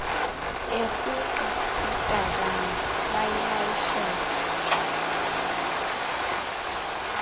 erhuqa itakane bayilayishele